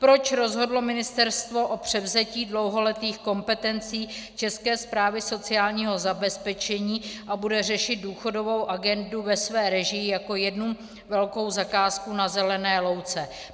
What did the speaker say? Proč rozhodlo ministerstvo o převzetí dlouholetých kompetencí České správy sociálního zabezpečení a bude řešit důchodovou agendu ve své režii jako jednu velkou zakázku na zelené louce?